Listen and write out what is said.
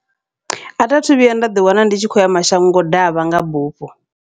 Athi athu vhuya nda ḓi wana ndi tshi kho uya mashango ḓavha nga bufho.